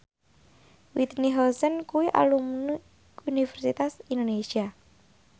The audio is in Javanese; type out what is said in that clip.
Whitney Houston kuwi alumni Universitas Indonesia